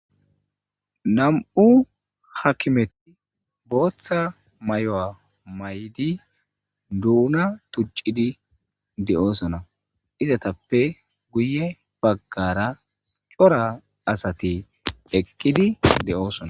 Nammu' hakimethi boththa mayyo mayidi Donna tucidi deo'ssonna. Izzathape guye bagara cora assathi eqidi deo'ssonna.